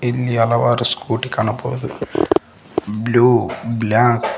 ಇಲ್ಲಿ ಹಲವಾರು ಸ್ಕೂಟಿ ಕಾಣಬಹುದು ಬ್ಲೂ ಬ್ಲಾಕ್ --